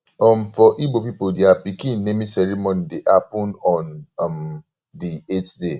um for igbo pipol dia pikin naming ceremony dey hapun on um di eight day